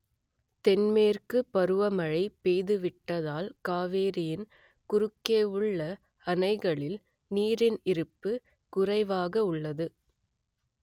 தென்மேற்குப் பருவமழை பொய்த்துவிட்டதால் காவிரியின் குறுக்கே உள்ள அணைகளில் நீரின் இருப்பு குறைவாக உள்ளது